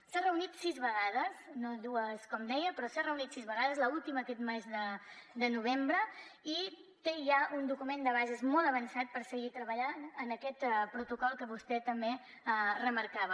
s’ha reunit sis vegades no dues com deia però s’ha reunit sis vegades l’última aquest mes de novembre i té ja un document de bases molt avançat per seguir treballant en aquest protocol que vostè també remarcava